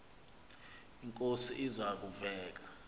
inkosi iza kuzek